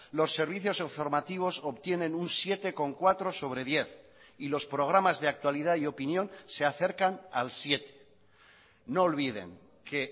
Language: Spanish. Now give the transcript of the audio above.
los servicios informativos obtienen un siete coma cuatro sobre diez y los programas de actualidad y opinión se acercan al siete no olviden que